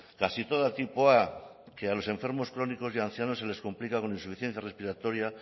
casi toda tipo a que a los enfermos crónicos y ancianos se les complica con insuficiencia respiratoria